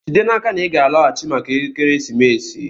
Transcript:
Jide n'aka na ị ga-alọghachi maka ekeresimesi!